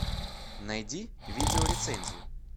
найди видеорецензию